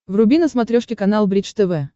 вруби на смотрешке канал бридж тв